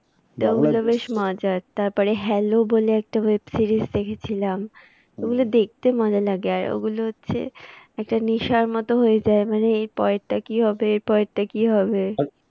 তো ওগুলো বেশ মজার তারপরে hello বলে একটা web series দেখেছিলাম। ওগুলো দেখতে মজা লাগে আর ওগুলো হচ্ছে। একটা নেশার মতো হয়ে যায় মানে এর পরেরটা হবে? এর পরেরটা কি হবে?